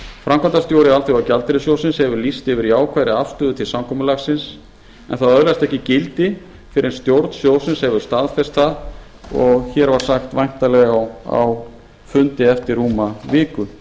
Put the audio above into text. framkvæmdastjóri alþjóðagjaldeyrissjóðsins hefur lýst yfir jákvæðri afstöðu til samkomulagsins en það öðlast ekki gildi fyrr en stjórn sjóðsins hefur staðfest það og hér var sagt væntanlega á fundi eftir rúma viku